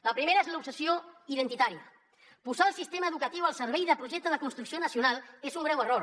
la primera és l’obsessió identitària posar el sistema educatiu al servei del projecte de construcció nacional és un greu error